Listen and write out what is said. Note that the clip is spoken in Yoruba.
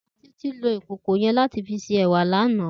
Titi ló ikókó yèn làtí fi sé èwá làná